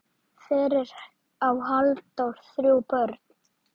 Fyrir á Halldór þrjú börn.